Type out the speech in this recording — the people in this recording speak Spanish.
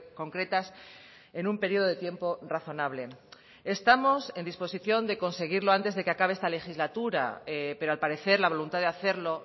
concretas en un periodo de tiempo razonable estamos en disposición de conseguirlo antes de que acabe esta legislatura pero al parecer la voluntad de hacerlo